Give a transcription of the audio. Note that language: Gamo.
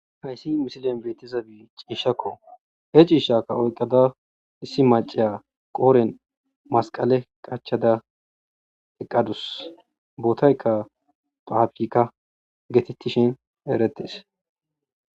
hayssi misilen beetizabi ciishakko he ciishakka oyqqada issi maciya qooren masqale qachada eqqadus bootayka paafirka geetettishin eretes.